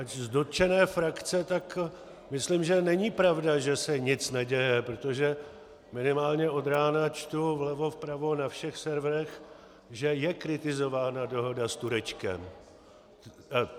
Ač z dotčené frakce, tak myslím, že není pravda, že se nic neděje, protože minimálně od rána čtu vlevo, vpravo, na všech serverech, že je kritizována dohoda s Turečkem.